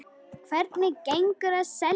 Hvernig gengur að selja?